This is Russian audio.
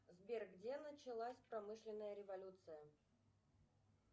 сбер где началась промышленная революция